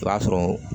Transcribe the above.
O b'a sɔrɔ